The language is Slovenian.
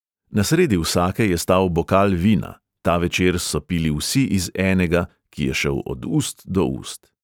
Na sredi vsake je stal bokal vina, ta večer so pili vsi iz enega, ki je šel od ust do ust.